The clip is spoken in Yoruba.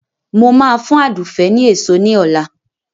Mo ma fún Àdùfé ni èso ní ọ̀la